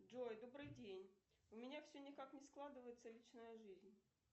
джой добрый день у меня все никак не складывается личная жизнь